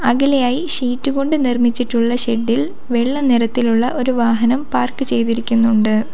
അകലെയായി sheet കൊണ്ട് നിർമ്മിച്ചിട്ടുള്ള shed ഇൽ വെള്ള നിറത്തിലുള്ള ഒരു വാഹനം പാർക്ക് ചെയ്തിരിക്കുന്നുണ്ട്.